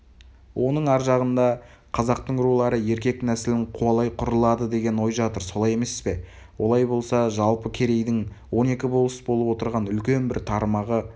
оның ар жағында қазақтың рулары еркек нәсілін қуалай құрылады деген ой жатыр солай емес пе олай болса жалпы керейдің он екі болыс болып отырған үлкен бір тармағы